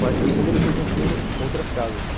Mais para o fundo, ele foi construindo outras casas.